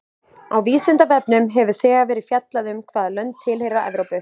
Á Vísindavefnum hefur þegar verið fjallað um hvaða lönd tilheyra Evrópu.